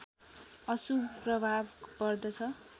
अशुभ प्रभाव पर्दछ